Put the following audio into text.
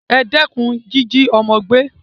E dékun jíjí ọ́mọ́ gbé